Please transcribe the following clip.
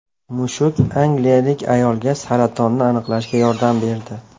Mushuk angliyalik ayolga saratonni aniqlashga yordam berdi.